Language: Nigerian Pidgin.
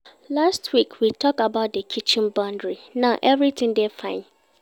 Last week, we tok about di kitchen boundary, now everytin dey fine